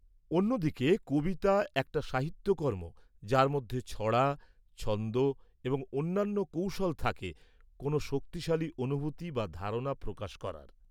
-অন্যদিকে কবিতা একটা সাহিত্যকর্ম যার মধ্যে ছড়া, ছন্দ এবং অন্যান্য কৌশল থাকে কোন শক্তিশালী অনুভূতি বা ধারণা প্রকাশ করার।